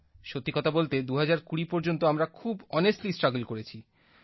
সত্যি কথা বলতে ২০২০ পর্যন্ত আমরা খুব ওনেস্টলি স্ট্রাগল করেছি